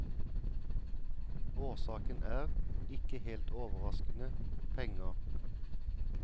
Årsaken er, ikke helt overraskende, penger.